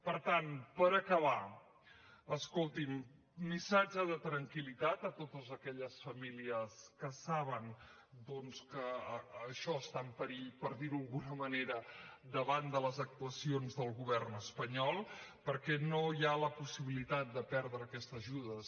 per tant per acabar escolti’m missatge de tranquil·litat a totes aquelles famílies que saben doncs que això està en perill per dirho d’alguna manera davant de les actuacions del govern espanyol perquè no hi ha la possibilitat de perdre aquestes ajudes